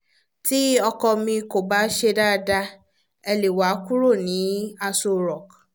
tí ọkọ mi kò bá ṣe dáadáa ẹ̀ lè wá kúrò ní aso rock